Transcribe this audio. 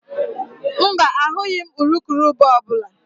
Mba, ahụghị m urukurubụba ọ bụla